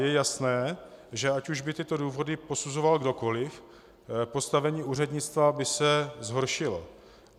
Je jasné, že ať už by tyto důvody posuzoval kdokoli, postavení úřednictva by se zhoršilo.